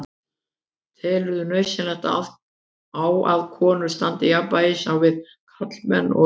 Telurðu nauðsyn á að konur standi jafnfætis á við karlmenn og öfugt?